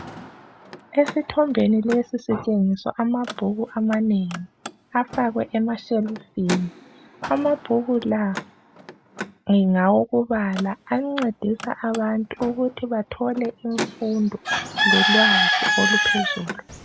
Esithombeni lesi sitshengiswa amabhuku amanengi. Afakwe emashelufini. Amabhuku la ngawokubala. Ancedisa abantu ukuthi bathole imfundo, lolwazi oluphezulu.